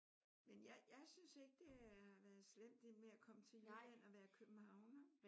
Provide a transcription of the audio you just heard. Men jeg jeg synes ikke det har været slemt det med at komme til Jylland og være københavner